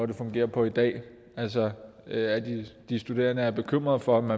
det fungerer på i dag de studerende er bekymrede for om